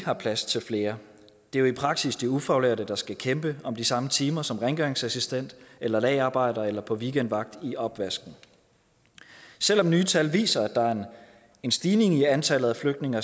har plads til flere det er jo i praksis de ufaglærte der skal kæmpe om de samme timer som rengøringsassistent eller lagerarbejder eller på weekendvagt i opvasken selv om nye tal viser at der er en stigning i antallet af flygtninge